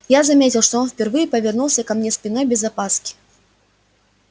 я заметил что он впервые повернулся ко мне спиной без опаски